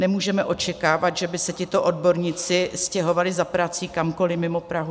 Nemůžeme očekávat, že by se tito odborníci stěhovali za prací kamkoliv mimo Prahu.